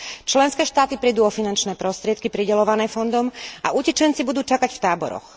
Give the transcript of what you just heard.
Členské štáty prídu o finančné prostriedky prideľované fondom a utečenci budú čakať v táboroch.